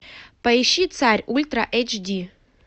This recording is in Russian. поищи царь ультра эйч ди